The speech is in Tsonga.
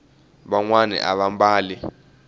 vanwani ava mbali